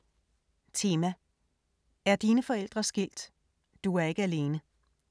Tema: Er dine forældre skilt? Du er ikke alene.